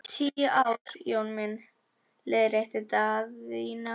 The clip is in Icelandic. Tíu ár Jón minn, leiðrétti Daðína.